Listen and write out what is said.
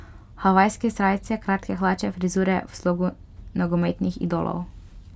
Havajske srajice, kratke hlače, frizure v slogu nogometnih idolov ...